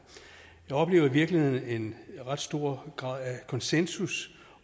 jeg oplever i virkeligheden en ret stor grad af konsensus